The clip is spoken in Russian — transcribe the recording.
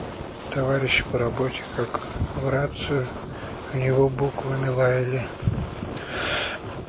товарищи по работе как в рацию в него буквами лаяли